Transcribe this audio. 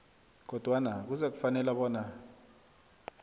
kodwana kuzakufanela bona